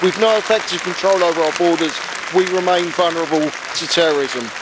With no effective control over our borders we remain vulnerable to terrorism.